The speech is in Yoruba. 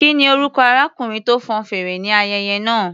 Kí ni orúkọ arákùnrin tó fọn fèrè ní ayẹyẹ náà?